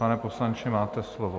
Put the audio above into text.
Pane poslanče, máte slovo.